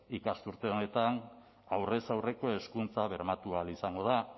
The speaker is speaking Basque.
ikasturte honetan aurrez aurreko hezkuntza bermatu ahal izango da